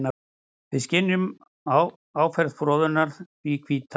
Við skynjum áferð froðunnar því hvíta.